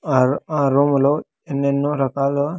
Are-- ఆ room లో ఎన్నేన్నో రకాల.